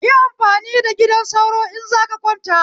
Yi amfani da gidan sauro in zaka kwanta